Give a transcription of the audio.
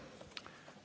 Aitäh!